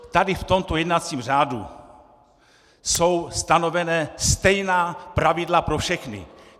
Tady v tomto jednacím řádu jsou stanovena stejná pravidla pro všechny.